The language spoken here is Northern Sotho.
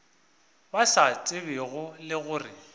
ba sa tsebego le gore